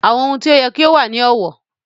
In-laws must be respected